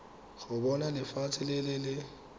go bona lefatshe le le